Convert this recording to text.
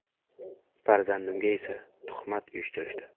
Farzandimga esa tuhmat uyushtirishdi.